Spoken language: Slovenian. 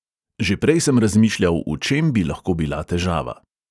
Že prej sem razmišljal, v čem bi lahko bila težava.